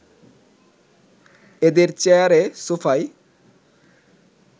এদের চেয়ারে সোফায়